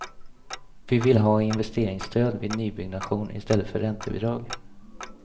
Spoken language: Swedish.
Vi vill ha investeringsstöd vid nybyggnation i stället för räntebidrag.